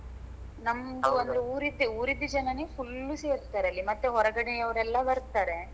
ನಮ್ದು ಊರಿದ್ದು ಊರಿದ್ದೆ ಜನನೇ full ಸೇರ್ತಾರೆ ಅಲ್ಲಿ ಮತ್ತೆ ಹೊರಗಡೆ ಅವ್ರೆಲ್ಲ ಬರ್ತಾರೆ.